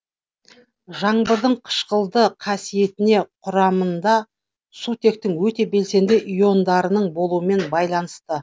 жаңбырдың қышқылды қасиетіне құрамында сутектің өте белсенді иондарының болуымен байланысты